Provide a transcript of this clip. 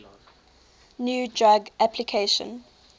new drug application